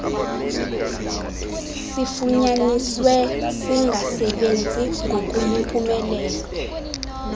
sifunyaniswe singasebenzi ngokuyimpumelelo